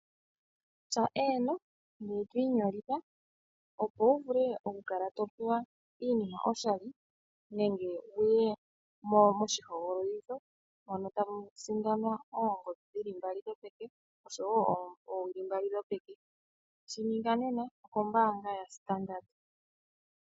Tya Eeno, ngoye to inyolitha opo wu vule okukala to pewa iinima oshali nenge wu ye moshihogololitho mono tamu sindanwa oongodhi dhi li mbali dhopeke noshowo oowili mbali dhokoshikesho. Shi ninga nena okombaanga yaStandard.